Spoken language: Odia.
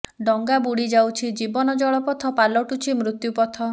ଡଙ୍ଗା ବୁଡି ଯାଉଛି ଜୀବନ ଜଳପଥ ପାଲଟୁଛି ମୃତ୍ୟୁ ପଥ